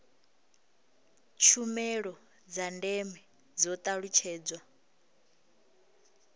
tshumelo dza ndeme dzo talutshedzwa